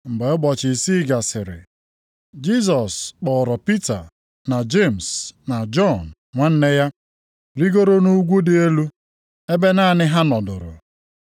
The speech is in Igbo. Mgbe ụbọchị isii gasịrị, Jisọs kpọọrọ Pita, na Jemis na Jọn nwanne ya, rigoro nʼugwu dị elu ebe naanị ha nọdụrụ.